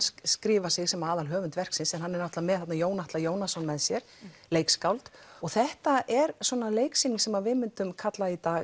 skrifi sig sem aðalhöfund verksins hann er með Jón Atla Jónasson með sér leikskáld og þetta er leiksýning sem við myndum kalla í dag